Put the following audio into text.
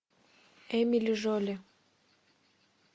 эмили жоли